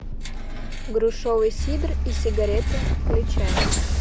грушевый сидр и сигареты включай